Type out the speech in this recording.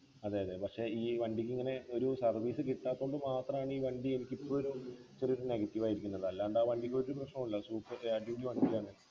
അതെ അതെ പക്ഷെ ഈ വണ്ടിക്കിങ്ങനെ ഒരു service കിട്ടാത്തോണ്ട് മാത്രം ആണ് ഈ വണ്ടി എനിക്കിപ്പോ ഒരു ചെറിയൊരു negative ആയിരിക്കുന്നത് അല്ലാണ്ട് ആ വണ്ടിക്കൊരു പ്രശ്നോ ഇല്ല super ഏർ അടിപൊളി വണ്ടിയാണ്